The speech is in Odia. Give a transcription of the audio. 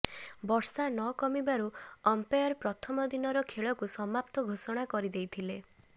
ବର୍ଷା ନ କମିବାରୁ ଅମ୍ପାୟର ପ୍ରଥମ ଦିନର ଖେଳକୁ ସମାପ୍ତ ଘୋଷଣା କରି ଦେଇଥିଲେ